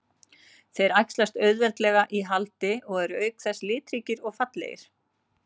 Þeir æxlast auðveldlega í haldi og eru auk þess litríkir og fallegir.